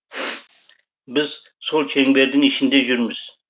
біз сол шеңбердің ішінде жүрміз